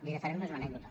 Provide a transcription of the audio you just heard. li faré només una anècdota